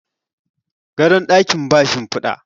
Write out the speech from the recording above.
gadon dakin ba shimfida